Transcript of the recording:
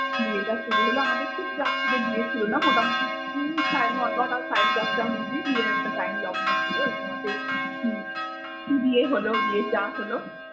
বিয়েটা শুরু হলো আমাদের ঠিক রাত্রিএ বিয়ে ছিলো না মোটামুটি সাড়ে নয়টা সাড়ে দশটার মধ্যেই বিয়ের একটা টাইম লগ্ন ছিলো এই সময়তেই বিয়ে হল বিয়েটা হল।